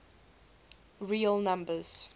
real numbers